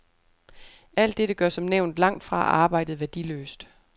Alt dette gør som nævnt langtfra arbejdet værdiløst.